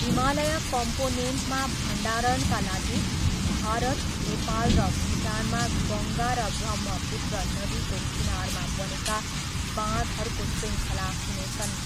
हिमालय कम्पोनेन्टमा भण्डारणका लागि भारत, नेपाल र भुटानमा गङ्गा र ब्रह्मपुत्र नदीको किनारमा बनेका बाँधहरूको शृङ्खला हुनेछन्।